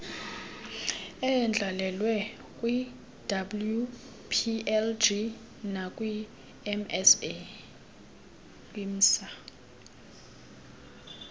eyandlalwe kwiwplg nakwimsa